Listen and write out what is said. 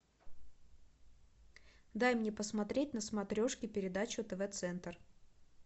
дай мне посмотреть на смотрешке передачу тв центр